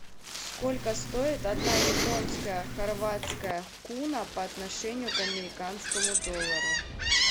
сколько стоит одна японская хорватская куна по отношению к американскому доллару